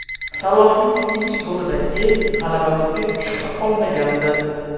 Salohning ikkinchi golidan keyin g‘alabamizga shubha qolmagandi.